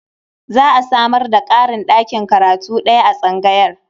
Za a samar da ƙarin ɗakin karatu ɗaya a tsangayar.